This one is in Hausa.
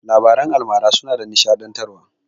Labaran almara suna nishaɗantarwa.